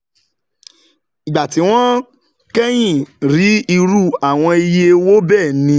Ìgbà tí wọ́n kẹ́yìn rí irú àwọn iye owó bẹ́ẹ̀ ni